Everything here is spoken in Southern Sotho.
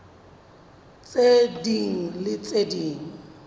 tse ding le tse ding